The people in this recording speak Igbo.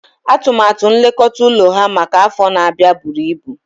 Atụmatụ nlekọta ụlọ ha maka afọ na-abịa buru ibu